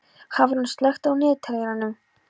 Hafrún, slökktu á niðurteljaranum.